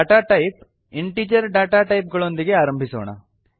data type integer data type ಗಳೊಂದಿಗೆ ಆರಂಭಿಸೋಣ